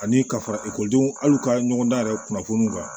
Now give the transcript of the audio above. Ani ka fara ekɔlidenw ali u ka ɲɔgɔndan yɛrɛ kunnafoni kan